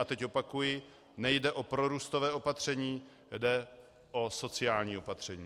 A teď opakuji - nejde o prorůstové opatření, jde o sociální opatření.